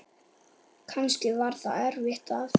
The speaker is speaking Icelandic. Kannski var það eftir að